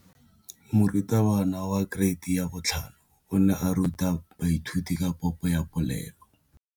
Moratabana wa kereiti ya 5 o ne a ruta baithuti ka popô ya polelô.